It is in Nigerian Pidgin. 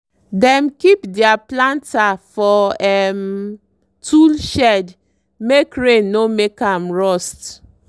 dem keep deir planter for um tool shed make rain no make am rust.